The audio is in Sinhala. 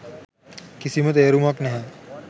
කිසිම තේරුමක් නැහැ.